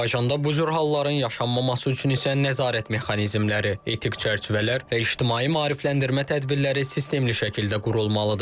Azərbaycanda bu cür halların yaşanmaması üçün isə nəzarət mexanizmləri, etik çərçivələr və ictimai maarifləndirmə tədbirləri sistemli şəkildə qurulmalıdır.